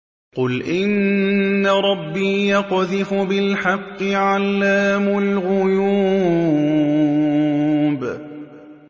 قُلْ إِنَّ رَبِّي يَقْذِفُ بِالْحَقِّ عَلَّامُ الْغُيُوبِ